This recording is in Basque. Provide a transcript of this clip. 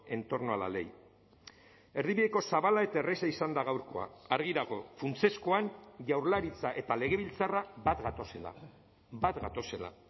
en torno a la ley erdibideko zabala eta erraza izan da gaurkoa argi dago funtsezkoan jaurlaritza eta legebiltzarra bat gatozela bat gatozela